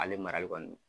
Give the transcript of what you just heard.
Ale marali kɔni